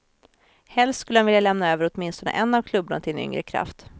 Helst skulle han vilja lämna över åtminstone en av klubborna till en yngre kraft.